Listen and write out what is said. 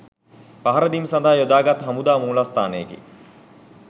පහරදීම් සඳහා යොදාගත් හමුදා මූලස්ථානයකි.